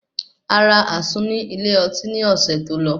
Ará àsun ní ilé oti ní ọ̀sẹ̀ tó lọ